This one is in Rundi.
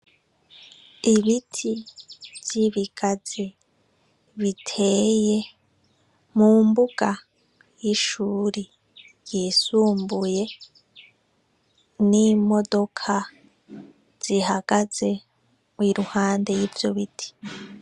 Ibiti vyibigazi biteye mumbuga y'ishuri ryisumbuye n'imodoka zihagaze iruhande y'ivyo biti.